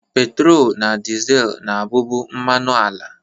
Petrol na diesel na-abụbu mmanụ ala